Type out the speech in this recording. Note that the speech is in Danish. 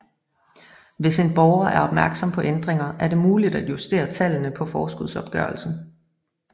Hvis en borger er opmærksom på ændringer er det muligt at justere tallene på forskudsopgørelsen